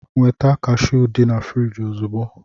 Nweta kashụụ dị na friji ozugbo!